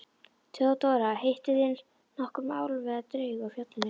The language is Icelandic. THEODÓRA: Hittuð þér nokkurn álf eða draug á fjallinu?